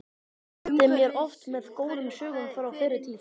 Hann skemmti mér oft með góðum sögum frá fyrri tíð.